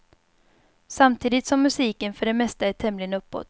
Samtidigt som musiken för det mesta är tämligen uppåt.